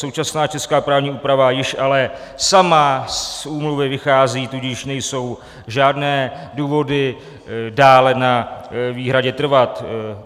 Současná česká právní úprava již ale sama z úmluvy vychází, tudíž nejsou žádné důvody dále na výhradě trvat.